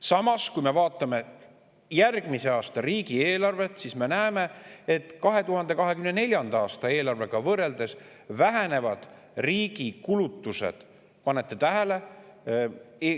Samas, kui me vaatame järgmise aasta riigieelarvet, siis me näeme, et 2024. aasta eelarvega võrreldes vähenevad riigi kulutused – pange tähele!